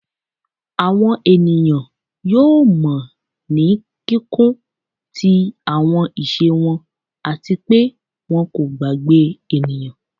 Awọn eniyan yoo mọ ni kikun ti awọn iṣe wọn ati pe wọn ko gbagbe eniyan